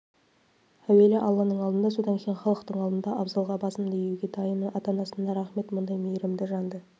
әуелі алланың алдында содан кейін халықтың алдында абзалға басымды иуге дайынмын ата-анасына рақмет мұндай мейірімді жанды